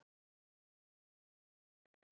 Hann kímir við.